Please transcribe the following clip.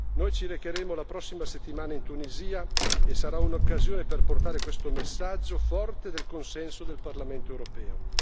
Noi ci recheremo la prossima settimana in Tunisia e sarà un'occasione per portare questo messaggio forte del consenso del Parlamento europeo